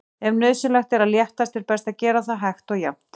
Ef nauðsynlegt er að léttast er best að gera það hægt og jafnt.